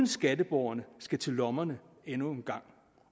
skatteborgerne skal til lommerne endnu en gang